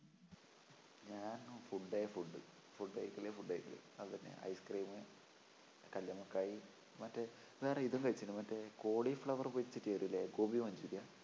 ഞാൻ food ഏ food food കഴിക്കല് food കഴിക്കല് അതെന്നെ ice cream കല്ലുമ്മക്കായ് മറ്റേ വേറെ ഇതും കഴിച്ചിരിക്കല് മറ്റേ cauli flower പൊരിച്ചിട്ടുതരില്ലേ, ഗോപി മഞ്ചൂരിയനാ?